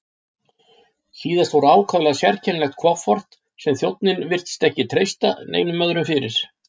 Síðast fór ákaflega sérkennilegt kofort sem þjónninn virtist ekki treysta neinum öðrum fyrir.